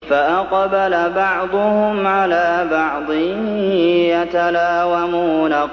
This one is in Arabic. فَأَقْبَلَ بَعْضُهُمْ عَلَىٰ بَعْضٍ يَتَلَاوَمُونَ